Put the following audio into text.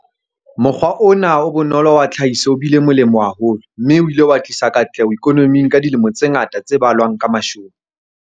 Mokgwa ona o bonolo wa tlhahiso o bile molemo haholo, mme o ile wa tlisa katleho ikonoming ka dilemo tse ngata tse balwang ka mashome.